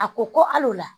A ko ko al'o la